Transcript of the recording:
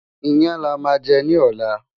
iyán là má jè ní ọlá